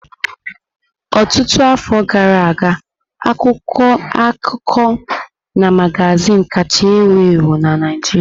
Ọtụtụ afọ gara aga, akwụkwọ akụkọ na magazin kacha ewu ewu na Naijiria.